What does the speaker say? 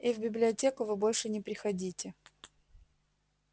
и в библиотеку вы больше не приходите